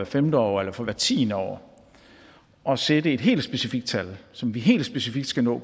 femte år eller for hvert tiende år og sætte et helt specifikt tal som vi helt specifikt skal nå